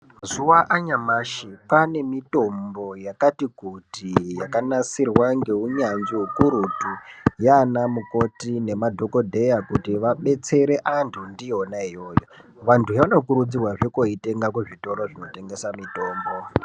Mazuva anyamashi kwane mitombo yakati kuti yakanasirwa ngeunyanzvi hukurutu, yana mukoti nemadhogodheya. Kuti vabetsere antu ndiyona iyoyo vantu vanokurudzirwazve kotenga kuzvitoro zvinotengesa mitombo.